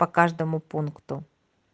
по каждому пункту